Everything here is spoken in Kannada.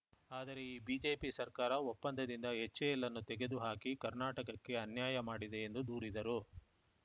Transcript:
ಆದರೆ ಈ ಬಿಜೆಪಿ ಸರ್ಕಾರ ಒಪ್ಪಂದದಿಂದ ಎಚ್‌ಎಎಲ್‌ನ್ನು ತೆಗೆದು ಹಾಕಿ ಕರ್ನಾಟಕಕ್ಕೆ ಅನ್ಯಾಯ ಮಾಡಿದೆ ಎಂದು ದೂರಿದರು